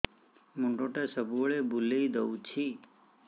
ମୁଣ୍ଡଟା ସବୁବେଳେ ବୁଲେଇ ଦଉଛି